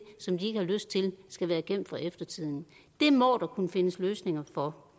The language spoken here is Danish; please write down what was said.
som de ikke har lyst til skal være gemt for eftertiden det må der kunne findes løsninger på